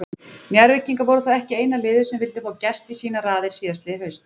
Njarðvíkingar voru þó ekki eina liðið sem vildi fá Gest í sínar raðir síðastliðið haust.